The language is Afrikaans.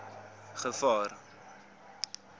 gevaar